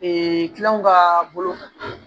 kilanw ka bolo kan